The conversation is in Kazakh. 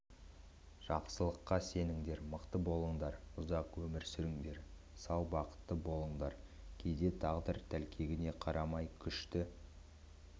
жақсылыққа сеніңдер мықты болыңдар ұзақ өмір сүріңдер сау бақытты болыңдар кейде тағдыр тәлкегіне қарамай күшті